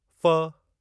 फ़